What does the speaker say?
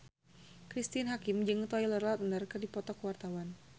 Cristine Hakim jeung Taylor Lautner keur dipoto ku wartawan